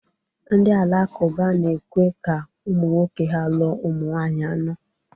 Ndị Alakụba na-ekwe ka ụmụ nwoke ha lụọ ụmụ nwanyị anọ